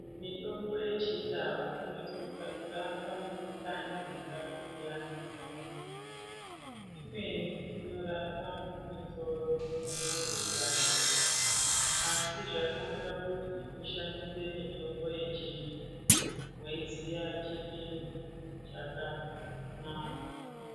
Mitombo yechindau inosisa kurapa mikhuhlani yakasiyana siyana, imweni inorapa misoro inonga yeipanda asi zvakanaka kuti tishandise mitombo yechindu weiziya chipimo chakanaka.